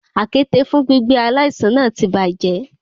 Àkéte fún gbígbé aláìsàn náà ti bàjẹ́.